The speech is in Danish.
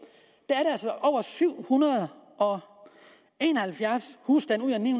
og der har syv hundrede og en og halvfjerds husstande ud af ni